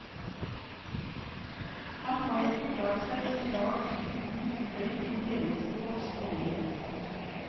Han har ikke klart seg en dag uten røyk i hele sitt voksne liv.